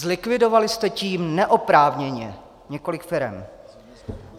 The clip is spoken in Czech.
Zlikvidovali jste tím neoprávněně několik firem.